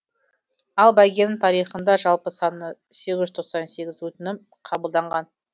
ал бәйгенің тарихында жалпы саны сегіз жүз тоқсан сегіз өтінім қабылданған